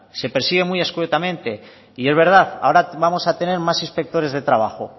se persigue muy escuetamente y es verdad ahora vamos a tener más inspectores de trabajo